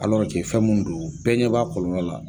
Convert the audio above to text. fɛn mun do bɛɛ ɲɛ b'a kɔlɔlɔ la.